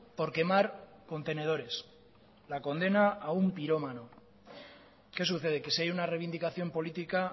por quemar contenedores la condena a un pirómano qué sucede que si hay una reivindicación política